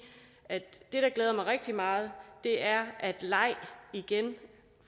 at det der glæder mig rigtig meget er at leg igen